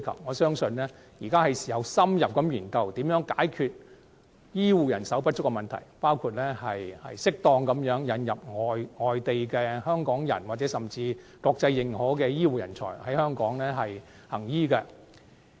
我相信現在是時候深入研究如何解決醫護人手不足的問題，包括適當引入外地港人或獲國際認可的醫護人才在港行醫。